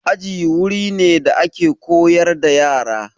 Aji wuri ne da ake koyar da yara.